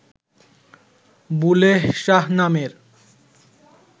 বুলেহ শাহ নামের